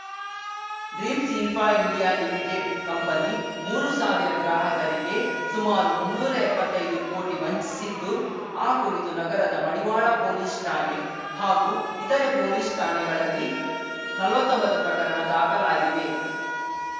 dreams Infra India Limited company ಮೂರುಸಾವಿರ ಗ್ರಾಹಕರಿಗೆ ಸುಮಾರು ಮುನ್ನೂರಾ ಎಪ್ಪತ್ತೈದು ಕೋಟಿ ವಂಚಿಸಿದ್ದು ಆ ಕುರಿತು ನಗರದ ಮಡಿವಾಳ ಪೊಲೀಸ್‌ ಠಾಣೆ ಹಾಗೂ ಇತರೆ ಪೊಲೀಸ್‌ ಠಾಣೆಗಳಲ್ಲಿ ನಲ್ವತ್ತೊಂಬತ್ತು ಪ್ರಕರಣ ದಾಖಲಾಗಿವೆ